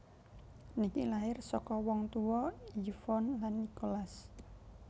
Nicky lahir saka wong tuwa Yvonne lan Nicholas